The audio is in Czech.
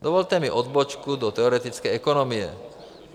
Dovolte mi odbočku do teoretické ekonomie.